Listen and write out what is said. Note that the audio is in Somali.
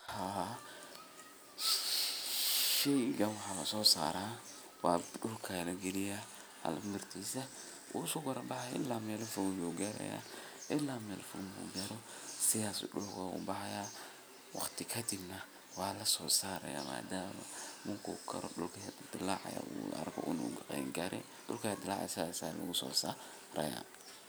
Haa, sheygan waxaa lasosaraa wa dulka ayaa lahaliya mirtisa uu iskakorbaxayaa ila meel fog ayuu garaya. ilma meel fog marku garo sidhaas ayu dulka ogubaxaya waqti kadib neh waa lasoosaraya madama marku karo dulka dalacaya arko inuu qaan gare dulka aya dalacaya sidhas ayaa lagusosaraya.